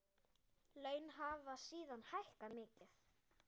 Laun hafa síðan hækkað mikið.